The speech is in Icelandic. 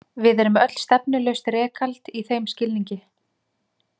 Við erum öll stefnulaust rekald í þeim skilningi.